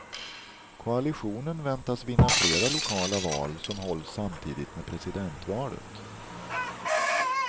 Koalitionen väntas vinna flera lokala val som hålls samtidigt med presidentvalet.